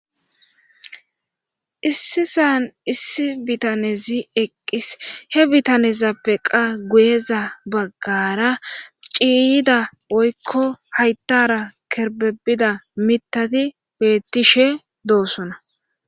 issi san issi bitanezi eqqis he bitanezappe qa guyeza baggara ciiyida woykko hayttara kerbebida mitati beettishe doosona